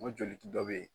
N ko joli dɔ be yen